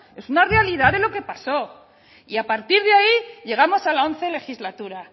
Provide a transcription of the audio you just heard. es una realidad de lo que pasó y a partir de ahí llegamos a la once legislatura